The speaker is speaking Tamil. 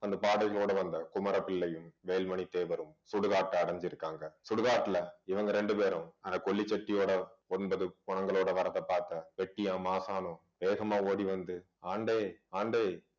அந்த பாடைகளோடு வந்த குமர பிள்ளையும் வேல்மணி தேவரும் சுடுகாட்டை அடைஞ்சிருக்காங்க சுடுகாட்டுல இவங்க ரெண்டு பேரும் அந்த கொள்ளி செட்டியோட ஒன்பது பிணங்களோட வர்றதை பார்த்தேன் வெட்டியான் மாசாணம் வேகமா ஓடி வந்து ஆண்டே ஆண்டே